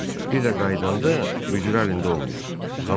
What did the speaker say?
Bir də qayıdanda möcrü əlində olmayıb.